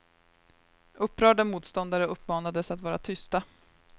Upprörda motståndare uppmanades att vara tysta.